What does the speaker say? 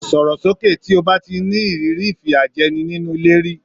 Sọ̀rò sókè! tí o bá ti ní ìrírí ìfìyàjẹni nínú ilé rí.